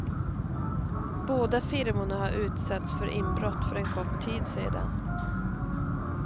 Båda firmorna har utsatts för inbrott för en kort tid sedan.